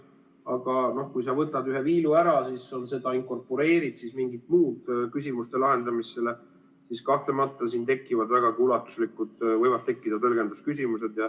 Aga kui sa võtad ühe viilu ära, siis inkorporeerid mingid muud küsimuste lahendamised, siis kahtlemata siin võivad tekkida vägagi ulatuslikud tõlgendamise küsimused.